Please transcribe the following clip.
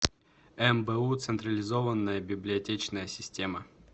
мбу централизованная библиотечная система